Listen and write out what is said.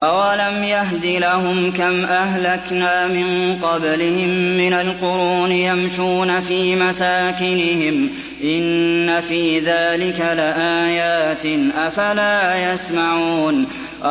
أَوَلَمْ يَهْدِ لَهُمْ كَمْ أَهْلَكْنَا مِن قَبْلِهِم مِّنَ الْقُرُونِ يَمْشُونَ فِي مَسَاكِنِهِمْ ۚ إِنَّ فِي ذَٰلِكَ لَآيَاتٍ ۖ أَفَلَا يَسْمَعُونَ